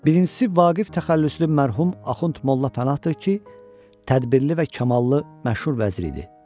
Birincisi Vaqif təxəllüslü mərhum Axund Molla Pənahdır ki, tədbirli və kamallı məşhur vəzir idi.